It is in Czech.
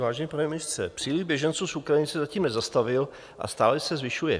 Vážený pane ministře, příliv běženců z Ukrajiny se zatím nezastavil a stále se zvyšuje.